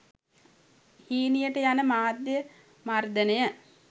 හීනියට යන මාධ්‍ය මර්ධනය